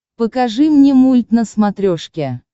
покажи мне мульт на смотрешке